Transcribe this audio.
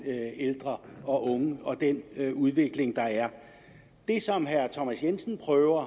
ældre og unge og den udvikling der er det som herre thomas jensen prøver